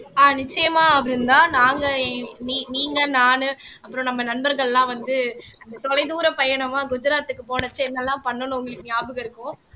ஆஹ் நிச்சயமா நாங்க நீ நீங்க நானு அப்புறம் நம்ம நண்பர்கள்லாம் வந்து அந்த தொலைதூர பயணமா குஜராத்துக்கு போனச்ச என்னெல்லாம் பண்ணணும்னு உங்களுக்கு ஞாபகம் இருக்கும்